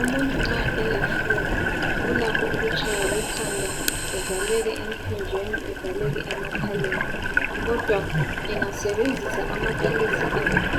umuntu nxa ele flue ulakho ukutshaywa likhanda evaleke empinjeni evaleke emakhaleni kodwa engasebenzisa amaphilisi